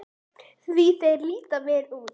Því þeir líta vel út?